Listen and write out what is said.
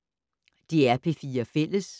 DR P4 Fælles